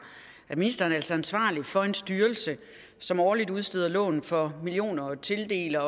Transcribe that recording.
at ministeren altså er ansvarlig for en styrelse som årligt udsteder lån for millioner og tildeler